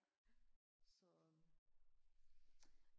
så